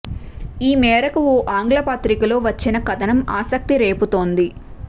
ఈ మేరకు ఓ ఆంగ్ల పత్రికలో వచ్చిన కథనం ఆసక్తి రేపుతోంది